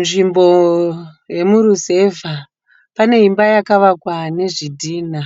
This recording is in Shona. Nzvimbo yemuruzevha. Pane imba yakavakwa nezvidhina,